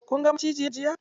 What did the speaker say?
Kun ga macijin jiya?